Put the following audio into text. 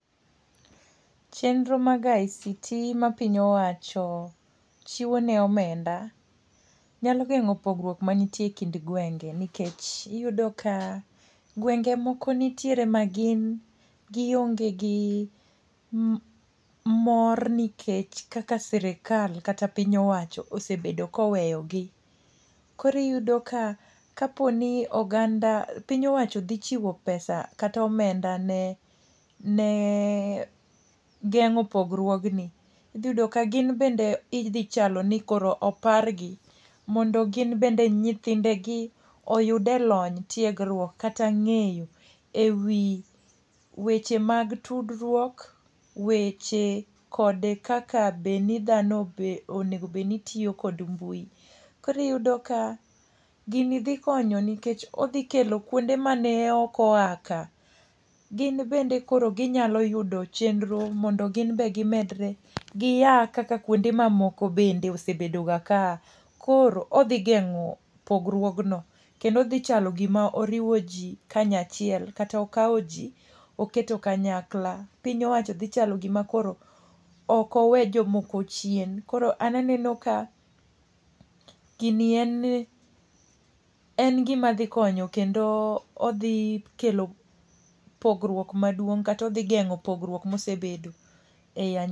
Chenro mag ICT ma piny owacho chiwo ne omenda, nyalo gengó pogruok mani tiere e kind gwenge. Nikech, iyudo ka gwenge moko nitiere ma gin gionge gi mor nikech kaka sirkal kata piny owacho osebedo ka oweyogi. Koro iyudo ka, ka po ni oganda, piny owacho dhi chiwo pesa kata omenda ne ne gengó pogruogni. Idhi yudo ka gin bende idhi chalo ni koro opargi. Mondo gin bende nyithindegi oyude lony, tiegruok kata ngéyo e wi weche mag tudruok, weche kod kaka be ni dhano onego bed ni tiyo kod mbui. Koro iyudo ka gini dhi konyo nikech odhi kelo kuonde mane ok oa ka. Gin bende koro ginyalo yudo chenro mondo gin bende gimedre. Gia kaka kuonde ma moko bende osebedo ga kaa. Koro odhigengó pogruogno, kendo odhi chalo gima oriwo ji kanya chiel, kata okao ji oketo kanyakla. Piny owacho dhi chalo gima koro okowe jomoko chien. Koro an aneno ka gini en en gima dhi konyo kendo odhi kelo pogruok maduong' kata odhi gengó pogruok ma isebedo ei.